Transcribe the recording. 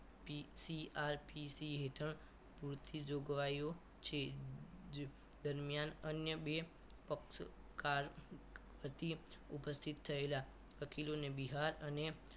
PCRP હેઠળ પૂરતી જોગવાઈ ઓ છે દરમિયાન અન્ય બે પક્ષોકાર પ્રતિ ઉપસ્થિત થયેલા વકીલોને બિહાર અને